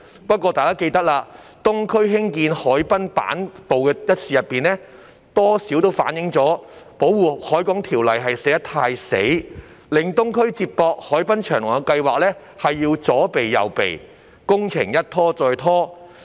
不過，大家也記得，在東區走廊下興建行人板道一事上，多少反映了《條例》寫得太"死"，令東區接駁海濱長廊的計劃要左避右避，工程一拖再拖。